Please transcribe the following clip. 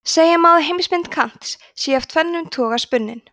segja má að heimsmynd kants sé af tvennum toga spunnin